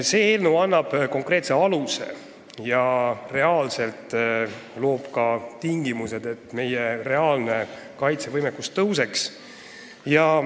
See eelnõu annab konkreetse aluse ja loob tingimused, et meie reaalne kaitsevõimekus paraneks.